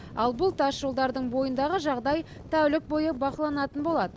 ал бұл тасжолдардың бойындағы жағдай тәулік бойы бақыланатын болады